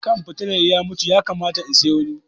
Kan fitilar ya mutu, ya kamata in siya wani.